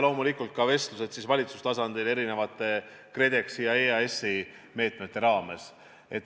Loomulikult toimuvad ka vestlused valitsustasandil erinevate KredExi ja EAS-i meetmete raames.